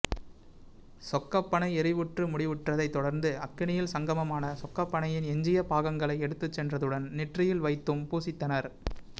சொக்கப்பனை எரிவுற்று முடிவுற்றதைத் தொடர்ந்து அக்கினியில் சங்கமமான சொக்கப்பனையின் எஞ்சிய பாகங்களை எடுத்துச்சென்றதுடன் நெற்றியில் வைத்தும் பூசித்தனர்